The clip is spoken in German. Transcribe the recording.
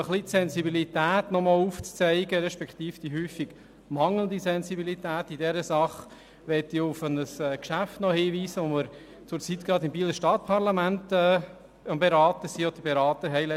Um die Problematik etwas aufzuzeigen beziehungsweise auf die häufig mangelhafte Sensibilität in dieser Sache hinzuweisen, möchte ich ein Geschäft erwähnen, welches wir im Bieler Stadtparlament am letzten Donnerstag beraten haben.